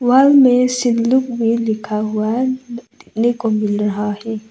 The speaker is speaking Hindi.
वॉल में सिल्लुक भी लिखा हुआ है देखने को मिल रहा है।